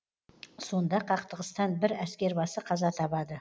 сонда қақтығыстан бір әскербасы қаза табады